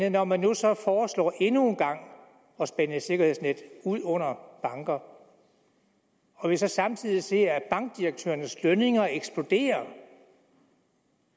at når man nu så foreslår endnu en gang at spænde et sikkerhedsnet ud under banker og vi så samtidig ser at bankdirektørernes lønninger eksploderer